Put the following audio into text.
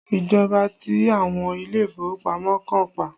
Ìjọba ti àwọn ilé ìfowópamọ́ kan pa